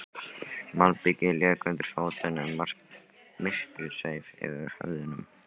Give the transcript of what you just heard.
Malbikið lék undir fótunum, myrkrið sveif yfir höfðunum.